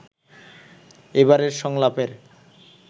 এবারের সংলাপের